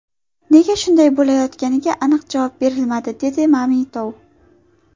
Nega shunday bo‘layotganiga aniq javob berilmadi”, dedi Mamitov.